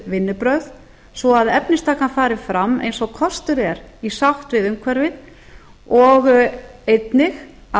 vinnubrögð svo að efnistakan fari fram eins og kostur er í sátt við umhverfið og einnig að